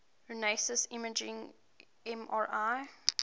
resonance imaging mri